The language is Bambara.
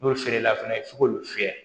N'o feerela fɛnɛ f'i k'olu fiyɛ